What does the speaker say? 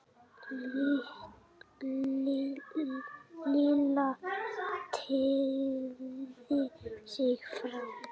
Lilla teygði sig fram.